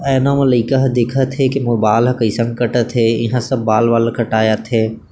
आइना मा लइका ह देखथे की मोर बाल ह कैइसन कटथे यहाँ सब बाल वाल कटाये आथे।